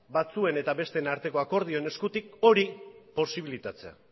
batzuen eta besteen arteko akordioen eskutik hori posibilitatzea